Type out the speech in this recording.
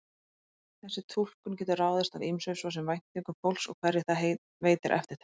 Þessi túlkun getur ráðist af ýmsu, svo sem væntingum fólks og hverju það veitir eftirtekt.